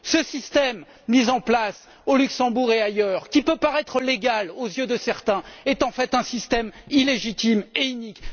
Ce système, mis en place au Luxembourg et ailleurs, qui peut paraître légal aux yeux de certains est en fait un système illégitime et inique.